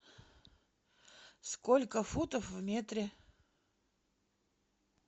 сколько футов в метре